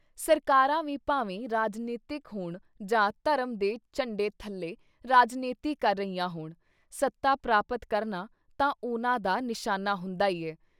ਸਰਕਾਰਾਂ ਵੀ ਭਾਵੇਂ ਰਾਜਨੀਤਿਕ ਹੋਣ ਜਾਂ ਧਰਮ ਦੇ ਝੰਡੇ ਥੱਲੇ ਰਾਜਨੀਤੀ ਕਰ ਰਹੀਆਂ ਹੋਣ, ਸਤਾ ਪ੍ਰਾਪਤ ਕਰਨਾ ਤਾਂ ਉਹਨਾਂ ਦਾ ਨਿਸ਼ਾਨਾ ਹੁੰਦਾ ਈ ਹੈ।